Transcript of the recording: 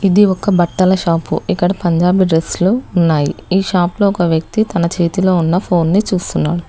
ఇది ఒక బట్టల షాప్ ఇక్కడ పంజాబీ డ్రెస్సులు ఉన్నాయి ఈ షాప్ లో ఒక వ్యక్తి తన చేతిలో ఉన్న ఫోన్ చూస్తూ ఉన్నాడు